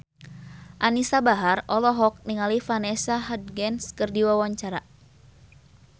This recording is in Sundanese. Anisa Bahar olohok ningali Vanessa Hudgens keur diwawancara